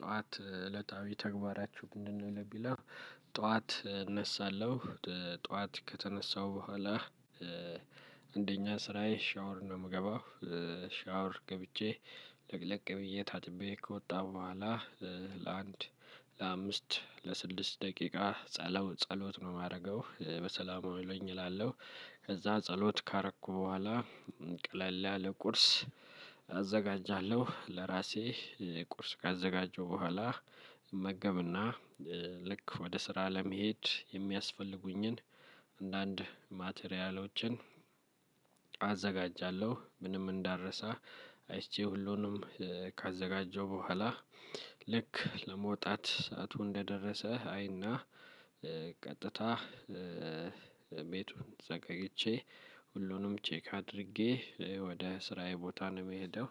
ጠዋት እለታዊ ተግባራችው ምንድነው? ለሚለው ጠዋት እነሳለው፤ ጠዋት ከተነሳሁ በኋላ አንደኛ ስራዬ ሻወር ነው የምገባው፤ ሻወር ገብቼ ለቅለቅ ብዬ ታጥቤ ከወጣ በኋላ ለአንድ ለአምስት ለስድስት ደቂቃ ጸሎት ነው ማረገው፤ በሰላም አውለኝ እላለሁ ከዛ ጸሎት ካረኩ በኋላ ቀለል ያለ ቁርስ አዘጋጃለሁ ለራሴ ቁርስ ካዘጋጀው በኋላ እመገብና ልክ ወደ ስራ ለመሄድ የሚያስፈልጉኝን አንዳንድ ማቴሪያሎችን አዘጋጃለሁ ምንም እንዳልረሳ አይቼ ሁሉንም ካዘጋጀው በኋላ ልክ ለመውጣት ሰዓቱ እንደደረሰ አይና ቀጥታ ቤቱን ዘጋግቼ፤ ሁሉንም ቼክ አድርጌ ወደ ስራዬ ቦታ ነው ምሄደው።